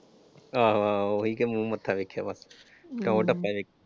ਆਹੋ ਆਹੋ ਉਹੀ ਕਿ ਮੂੰਹ ਮੱਥਾ ਵੇਖਿਆ ਵਾ ਟੌਰ ਟੱਪਾ ਵੇਖਿਆ।